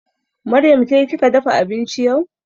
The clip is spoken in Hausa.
Maryam ke kika dafa abinci yau?